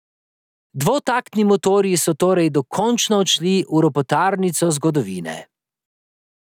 Dvotaktni motorji so torej dokončno odšli v ropotarnico zgodovine.